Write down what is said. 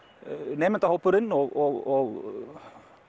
nemendahópurinn og